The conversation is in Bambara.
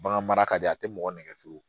Bagan mara ka di a tɛ mɔgɔ nɛgɛ fiyewu